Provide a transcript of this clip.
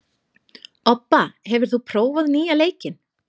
Obba, hefur þú prófað nýja leikinn?